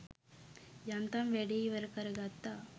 යන්තම් වැඩේ ඉවර කරගත්ත.